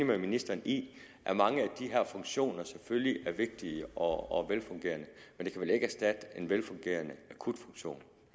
med ministeren i at mange af de her funktioner selvfølgelig er vigtige og velfungerende men det kan vel ikke erstatte en velfungerende akutfunktion